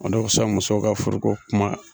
O dɔw bi sa musow ka furuko kuma